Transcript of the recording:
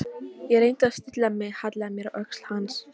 Ég reyndi að stilla mig, hallaði mér að öxl hans.